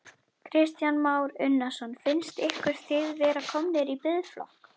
Kristján Már Unnarsson: Finnst ykkur þið vera komnir í biðflokk?